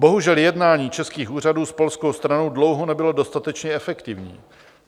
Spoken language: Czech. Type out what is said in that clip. Bohužel jednání českých úřadů s polskou stranu dlouho nebylo dostatečně efektivní.